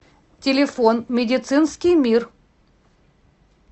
телефон медицинский мир